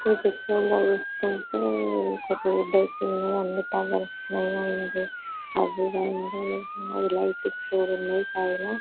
ఈ పిక్చర్ లో చూస్తుంటే ఒక రోడ్ ఐతే అన్ని టవర్స్ పైన లైటింగ్ స్ చుడండి పైన